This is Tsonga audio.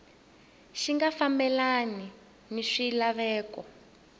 xi nga fambelani ni swilaveko